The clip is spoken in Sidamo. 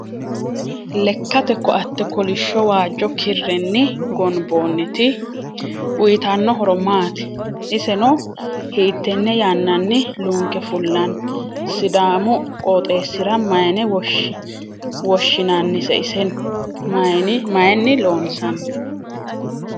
leekate koo'ate koolish waajo kiireni gooniboniti uyitano horo maati? isseno hittene yanani lunke fulani? sidaamu qoxesira mayine woshinanise iseno mayini loonsani?